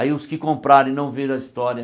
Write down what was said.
Aí os que compraram e não viram a história,